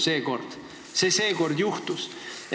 Seekord see juhtus.